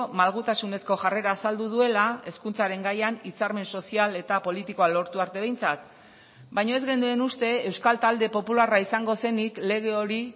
malgutasunezko jarrera azaldu duela hezkuntzaren gaian hitzarmen sozial eta politikoa lortu arte behintzat baina ez genuen uste euskal talde popularra izango zenik lege hori